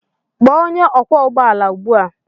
Kpọọ onye ọkwọ ụgbọala ugbu a!